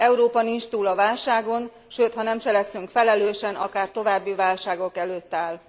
Európa nincs túl a válságon, sőt, ha nem cselekszünk felelősen, akár további válságok előtt áll.